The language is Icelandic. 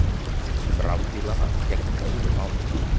Um rafbílana gegnir öðru máli.